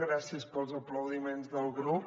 gràcies pels aplaudiments del grup